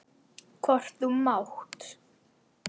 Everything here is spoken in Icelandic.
Hvort þú mátt!